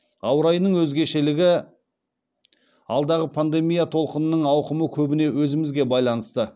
ауа райынан өзгешелігі алдағы пандемия толқынының ауқымы көбіне өзімізге байланысты